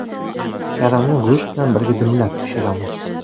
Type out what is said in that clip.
Karamni go‘sht bilan birga dimlab pishiramiz.